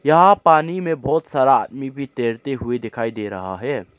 यहा पानी में बहोत सारा आदमी भी तैरते हुए दिखाई दे रहा है।